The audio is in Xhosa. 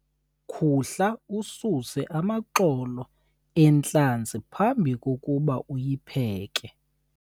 khuhla ususe amaxolo entlanzi phambi kokuba uyipheke